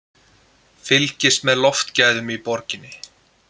Fylgist með loftgæðum í borginni